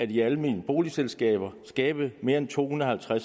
de almene boligselskaber skabe mere end to hundrede og